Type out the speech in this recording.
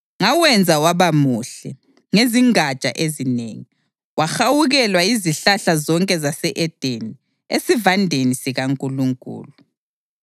Ngawenza waba muhle ngezingatsha ezinengi, wahawukelwa yizihlahla zonke zase-Edeni esivandeni sikaNkulunkulu.